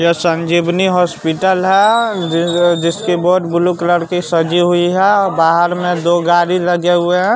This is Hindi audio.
यह संजीवनी हॉस्पिटल है जिसकी बोड ब्लू कलर की सजी हुई है बाहर में दो गाड़ी लगे हुए हैं।